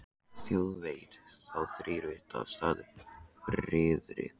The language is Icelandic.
Þjóð veit þá þrír vita sagði Friðrik.